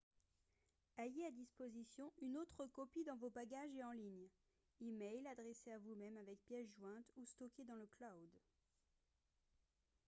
ayez à disposition une autre copie dans vos bagages et en ligne e-mail adressé à vous-même avec pièce jointe ou stocké dans le « cloud »